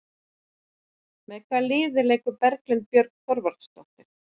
Með hvaða liði leikur Berglind Björg Þorvaldsdóttir?